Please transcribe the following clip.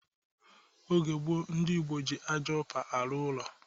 Oge gboo, ndị Igbo ji ájá upa arụ ụlọ